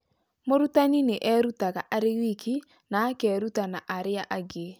Mũrutani nĩ erutaga arĩ wiki, na akeruta na arĩa angĩ.